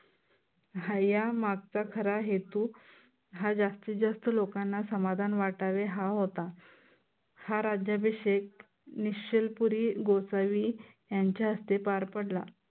ह्या मागचा खरा हेतू हा जास्तीत जास्त लोकांना समाधान वाटावे, हा होता. हा राज्याभिषेक निश्चलपुरी गोसावी यांच्या हस्ते पार पडला.